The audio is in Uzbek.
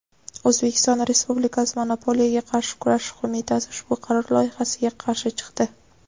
O‘zbekiston Respublikasi Monopoliyaga qarshi kurashish qo‘mitasi ushbu qaror loyihasiga qarshi chiqdi.